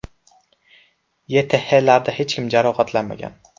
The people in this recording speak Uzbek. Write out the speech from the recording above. YTHlarda hech kim jabrlanmagan.